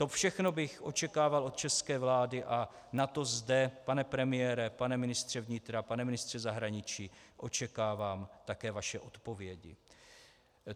To všechno bych očekával od české vlády a na to zde, pane premiére, pane ministře vnitra, pane ministře zahraničí, očekávám také vaše odpovědi.